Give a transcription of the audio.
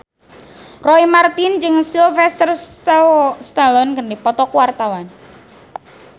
Roy Marten jeung Sylvester Stallone keur dipoto ku wartawan